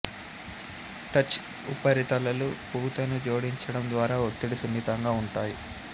touch ఉపరితలాలు పూతను జోడించడం ద్వారా ఒత్తిడి సున్నితంగా ఉంటాయి